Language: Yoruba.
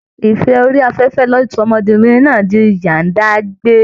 Ìfẹ́ orí afẹ́fẹ́ ló sọ ọmọbìnrin náà di ìyá-ń-dágbé